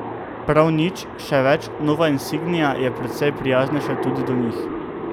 Prav nič, še več, nova insignia je precej prijaznejša tudi do njih.